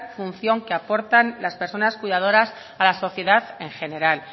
función que aportan las personas cuidadoras a la sociedad en general